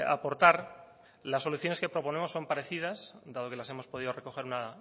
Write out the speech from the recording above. aportar las soluciones que proponemos son parecidas dado que las hemos podido recoger una